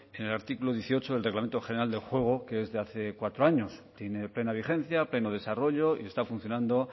en el artículo dieciocho del reglamento general del juego que es de hace cuatro años tiene plena vigencia pleno desarrollo y está funcionando